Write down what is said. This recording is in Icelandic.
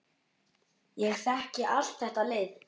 Ég þekki allt þetta lið.